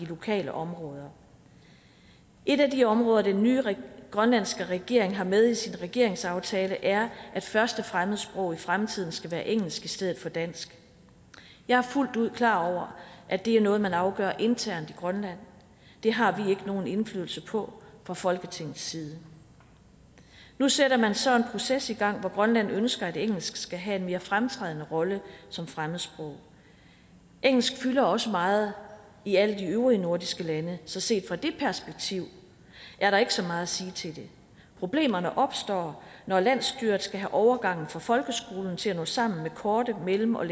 lokale områder et af de områder den nye grønlandske regering har med i sin regeringsaftale er at første fremmedsprog i fremtiden skal være engelsk i stedet for dansk jeg er fuldt ud klar over at det er noget man afgør internt i grønland det har vi ikke nogen indflydelse på fra folketingets side nu sætter man så en proces i gang hvor grønland ønsker at engelsk skal have en mere fremtrædende rolle som fremmedsprog engelsk fylder også meget i alle de øvrige nordiske lande så set fra det perspektiv er der ikke så meget at sige til det problemerne opstår når landsstyret skal have overgangen fra folkeskolen til at nå sammen med korte mellemlange